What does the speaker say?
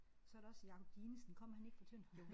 Så er der også Jacob Dinesen kommer han ikke fra Tønder?